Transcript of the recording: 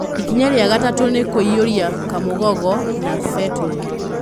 Ikinya rĩa gatatũ nĩ kũiyũria kamũgogoo na betũrũ.